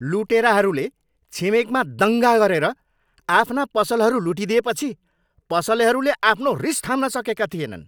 लुटेराहरूले छिमेकमा दङ्गा गरेर आफ्ना पसलहरू लुटिदिएपछि पसलेहरूले आफ्नो रिस थाम्न सकेका थिएनन्।